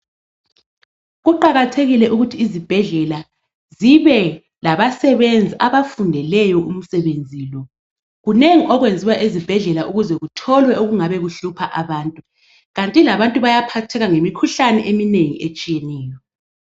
Kuqakathekile ukuthi izibhedlela zibe labasebenzi abafundeleyo umsebenzi lo. Kunengini okwenziwayo ezibhedlela ukuze kutholwe okungabe kuhlupha abantu kanti labantu bayaphatheka ngemikhuhlane eminengi etshiyeneyo.